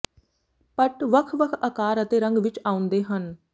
ਪਟ ਵੱਖ ਵੱਖ ਅਕਾਰ ਅਤੇ ਰੰਗ ਵਿੱਚ ਆਉਂਦੇ ਹਨ